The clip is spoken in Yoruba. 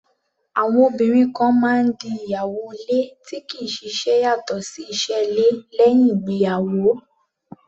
Àwọn obìnrin kan máa ń di ìyàwó ilé tí kì í ṣiṣẹ́ yàtọ̀ sí iṣẹ́ ilé, lẹ́uìn ìgbéyàwó.